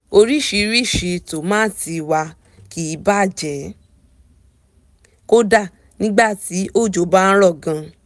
oríṣiríṣi tòmátì wa kì bàjẹ́ kódà nígbà tí òjò bá rọ̀ gan